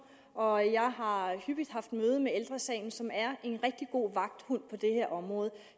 og jeg har hyppigt haft møde med ældre sagen som er en rigtig god vagthund på det her område